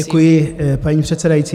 Děkuji, paní předsedající.